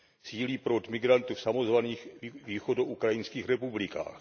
Sílí proud migrantů v samozvaných východoukrajinských republikách.